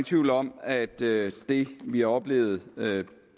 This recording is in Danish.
tvivl om at det det vi har oplevet